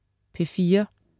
P4: